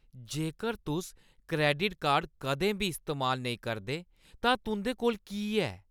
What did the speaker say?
जेकर तुस credit card कदें बी इस्तेमाल नेईं करदे तां तुंʼदे कोल की ऐ?